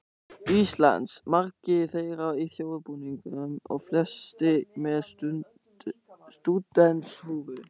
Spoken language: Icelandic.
Íslands, margir þeirra í þjóðbúningum og flestir með stúdentshúfur.